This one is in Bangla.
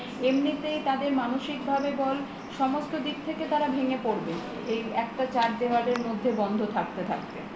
এমনিতেই তাদের মানসিকভাবে বল সমস্ত দিক থেকে তারা ভেঙ্গে পরবে এই একটা চার দেওয়ালের মধ্যে বন্ধ থাকতে থাকতে